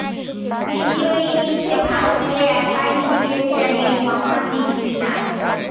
দ্বিতীয় ইনিংসে ভারতকে একাই ভুগিয়েছেন এই বাঁহাতি স্পিনার